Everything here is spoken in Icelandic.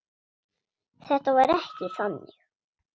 Þetta var ekki þannig.